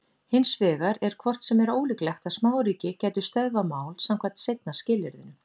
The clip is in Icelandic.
Hins vegar er hvort sem er ólíklegt að smáríki gætu stöðvað mál samkvæmt seinna skilyrðinu.